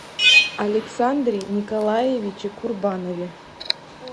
александре николаевиче курбанове